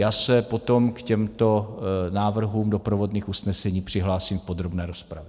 Já se potom k těmto návrhům doprovodných usnesení přihlásím v podrobné rozpravě.